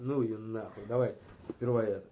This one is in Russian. ну её нахуй давай сперва